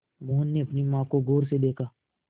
मोहन ने अपनी माँ को गौर से देखा